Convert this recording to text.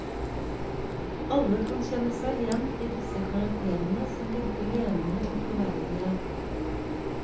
Alle kan kjenne seg igjen i disse karakterene, som virker levende og troverdige.